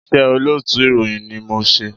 Iṣẹ́ olóòtú ìròyìn ni mò ń ṣe.